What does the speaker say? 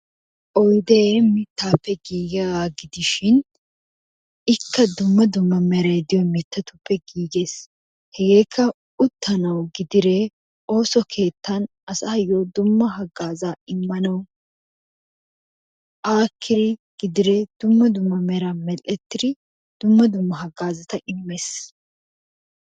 Oyide mittappe gigiyaga gidishin ikka dumma dumma meray diyo mittatuppe gigesi hegekka uttanawu gidide osso kettan asayo dumma hagaza immanayo akidi gidide dumma dumma meran merettidi, dumma dumma hagazata immes.